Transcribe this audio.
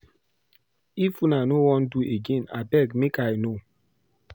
If una no wan do again abeg make I know.